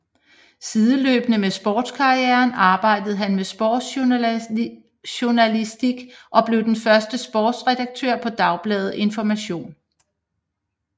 Sideløbende med sportskarrieren arbejdede han med sportsjournalistik og blev den første sportsredaktør på Dagbladet Information